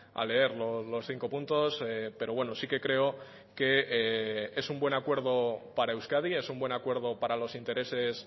a leer los cinco puntos pero bueno sí que creo que es un buen acuerdo para euskadi es un buen acuerdo para los intereses